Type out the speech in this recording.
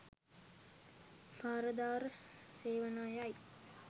පරදාර සේවනයයි.